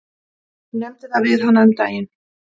Ég nefndi það við hana um daginn.